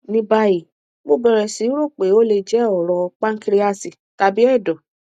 ní báyìí mo bẹrẹ sí rò pé ó lè jẹ ọrọ pánkíríásì tàbí ẹdọ